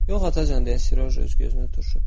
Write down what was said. Yox, atacan, dedi Siroja öz gözünü turşutdu.